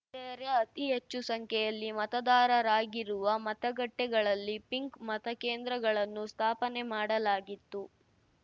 ಯರೇ ಅತಿ ಹೆಚ್ಚು ಸಂಖ್ಯೆಯಲ್ಲಿ ಮತದಾರರಾಗಿರುವ ಮತಗಟ್ಟೆಗಳಲ್ಲಿ ಪಿಂಕ್‌ ಮತಕೇಂದ್ರಗಳನ್ನು ಸ್ಥಾಪನೆ ಮಾಡಲಾಗಿತ್ತು